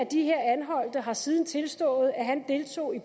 den har siden tilstået at han deltog i